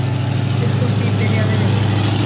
Upp úr því byrjaði rifrildið.